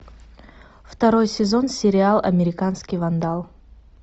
второй сезон сериал американский вандал